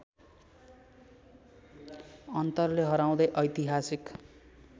अन्तरले हराउँदै ऐतिहासिक